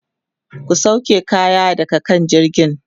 ku sauke kaya daga kan jirgin!